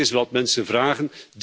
Dit is wat de mensen vragen.